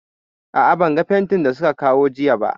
A'a, ban ga fentin da su ka kawo jiya ba